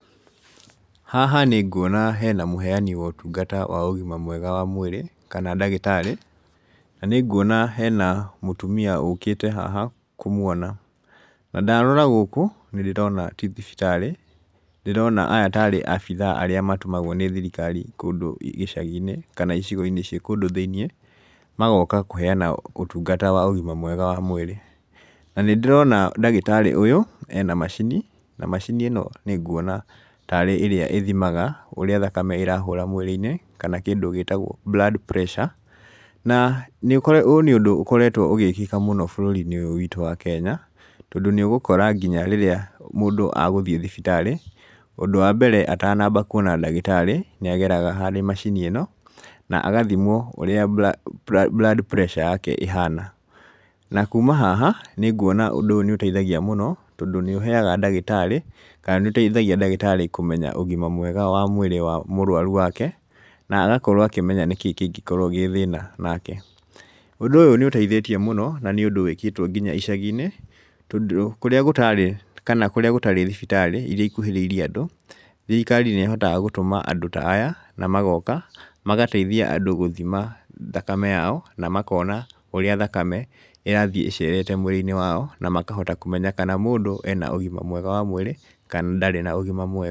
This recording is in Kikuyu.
Haha ninguona hena mũheani wa ũtungata wa ũgima mwega wa mũĩrĩ, kana ndagĩtarĩ na nĩnguona hena mũtumia ũkĩte haha kũmwona, na ndarora gũkũ nĩndĩrona ti thibitarĩ ndĩrona aya tarĩ abithaa arĩa matũmagwo nĩ thirikari kũndũ gĩcagi-inĩ kana icigo-inĩ ci kũndũ thĩinĩe magoka kũheana ũtungata wa ũgima mwega wa mwĩrĩ na nĩndĩrona ndagĩtarĩ ũyũ ena macini na macini ĩno nĩnguona tarĩ ĩrĩa ĩthimaga ũrĩa thakame ĩrahũra mwĩrĩ-inĩ kana kĩndũ gĩtagwo blood pressure na ũyũ nĩ ũndũ ũkoretwo ũgĩkĩka mũno bũrũri-inĩ ũyũ witũ wa kenya, tondũ nĩũgũkora nginya rĩrĩa mũndũ agũthĩe thibitarĩ ũndũ wa mbere atanamba kuona ndagĩtari nĩageraga harĩ macini ĩno na gathimwo ũrĩa blood pressure yake ĩhana. Na kuma haha nĩngũona ũndũ ũyũ nĩũteithagia mũno tondũ nĩũheaga ndagĩtarĩ kana nĩũteithagia ndagĩtarĩ kũmenya ũgima mwega wa mwĩrĩ wa mũrwaru wake na agakorwo akĩmenya nĩkĩ kĩngĩkorwo gĩ thĩna nake . Ũndũ ũyũ nĩũteithĩtie mũno na nĩ ũndúũwĩkĩtwo nginya icagi-inĩ tondũ kũrĩa gũtarĩ kana kũrĩa gũtarĩ thibitarĩ iria ikuhĩrĩirie andũ thirikari nĩ ĩhotaga gũtũma andũ ta aya na magoka magateithia andũ gũthima thakame yao na makona ũrĩa thakame ĩrathĩe ĩcerete mũĩrĩ-inĩ wao na makahota kũmenya kana mũndũ ena ũgima mwega wa mũirĩ kana ndarĩ na ũgima mwega.